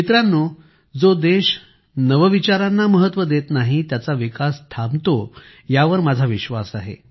मित्रांनो जो देश नाविन्याला महत्त्व देत नाही त्याचा विकास थांबतो यावर माझा विश्वास आहे